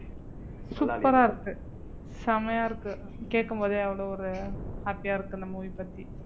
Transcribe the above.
super ஆ இருக்கு செமையா இருக்கு கேக்கும் போதே அவ்வளவு ஒரு happy ஆ இருக்கு இந்த movie பத்தி